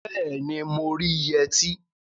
Bẹẹni, mo rí yẹtí